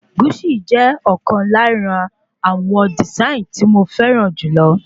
Guṣi jẹ ọ̀kan lára àwọn dìsáìnì tí mo fẹràn jùlọ